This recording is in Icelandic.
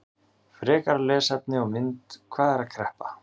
Frekara lesefni og mynd: Hvað er kreppa?